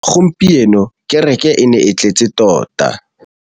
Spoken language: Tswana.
Gompieno kêrêkê e ne e tletse tota.